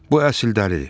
Bu əsl dəlidir.